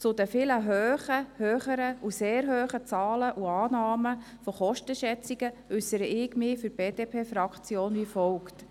Zu den vielen höheren und sehr hohen Zahlen und Annahmen der Kostenschätzungen äussere ich mich für die BDP-Fraktion wie folgt: